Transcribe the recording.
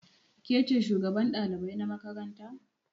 Ke ce shugaban ɗalibai na makaranta?